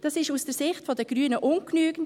Das ist aus der Sicht der Grünen ungenügend.